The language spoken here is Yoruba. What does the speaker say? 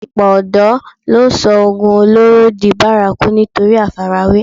Ọ̀pọ̀ ọ̀dọ̀ ló sọ oògùn olóró di bárakú nítorí àfarawé